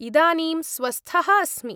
इदानीं स्वस्थः अस्मि।